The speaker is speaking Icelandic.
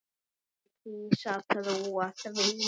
Ég kýs að trúa því.